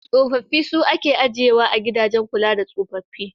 Tsofaffi su ake ajiyewa a gidajen kula da tsofaffi.